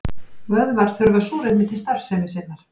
Vöðvar þurfa súrefni til starfsemi sinnar.